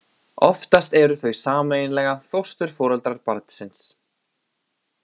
Oftast eru þau sameiginlega fósturforeldrar barnsins.